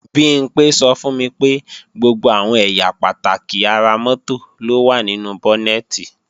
Bimpé sọ fún mi pé gbogbo àwọn ẹ̀yà pàtàkì ara mọ́tò ló wà nínú bọ́nẹ̀tì